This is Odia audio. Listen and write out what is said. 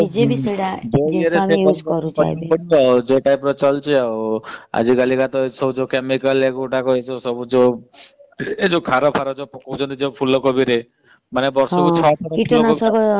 ଏବେ ତ ଚଳୁଛି ଆଉ ଆଜି କଲି କା chemical ସାରା ଫାର ଯୋଉ ପକାଉଛନ୍ତି ଫୁଲ କୋବି ରେ ମାନେ ବର୍ଷ କୁ ଛ ପ୍ରକାର ଫୁଲକୋବି